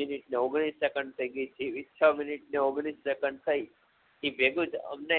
minute અને ઓગણીશ second થઈ ગય એ છ મિનિટ ને ઓગણીશ સેકંડ થઈ એ ભેગુજ અમને